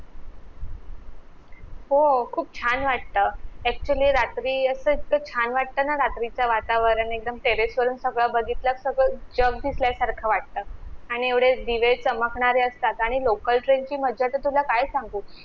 हो खूप छान वाटतं actually रात्री असं इतकं छान वाटतं ना रात्रीच वातावरण एकदम terrace वरून सगळ बघीतलं सगळं जग दिसल्या सारखं वाटतं आणि एवढे दिवे चमकणारे असतात आणि local train ची मजा तर तुला काय सांगू